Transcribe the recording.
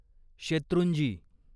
Shetrunji